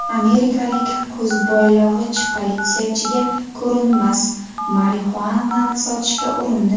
Amerikalik ko‘zboylog‘ich politsiyachiga ko‘rinmas marixuanani sotishga urindi .